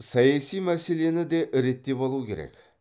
саяси мәселені де реттеп алу керек